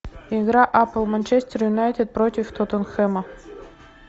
игра апл манчестер юнайтед против тоттенхэма